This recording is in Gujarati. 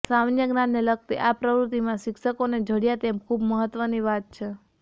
સામાન્ય જ્ઞાનને લગતી આ પ્રવૃત્તિમાં શિક્ષકોને જોડયાં તે ખૂબ મહત્વની વાત છે